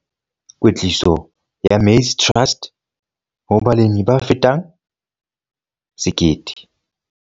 Kwetliso ya Maize Trust ho balemi ba fetang 1 000.